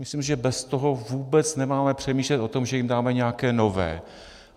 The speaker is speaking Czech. Myslím, že bez toho vůbec nemáme přemýšlet o tom, že jim dáme nějaké nové.